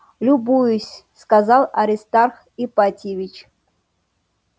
любуюсь сказал аристарх ипатьевич